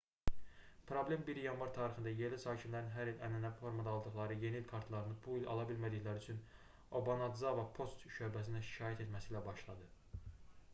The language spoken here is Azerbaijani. problem 1 yanvar tarixində yerli sakinlərin hər il ənənəvi formada aldıqları yeni il kartlarını bu il ala bilmədikləri üçün obanadzava poçt şöbəsinə şikayət etməsi ilə başladı